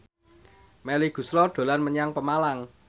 Melly Goeslaw dolan menyang Pemalang